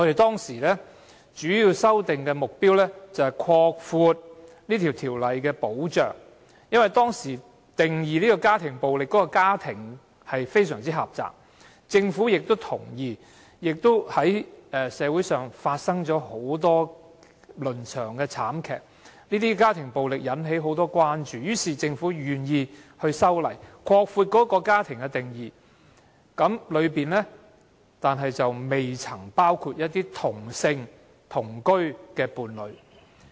當時修訂條例的主要目的，是擴闊條例的保障，因為當時家庭暴力中"家庭"的定義非常狹窄，而社會上發生了很多倫常慘劇，令家庭暴力引起廣泛關注，因此，政府願意修例，擴闊"家庭"的定義，但當中並未包括"同性同居伴侶"。